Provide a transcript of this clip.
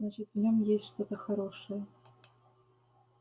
значит в нём есть что-то хорошее